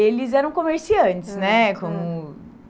Eles eram comerciantes, né? Como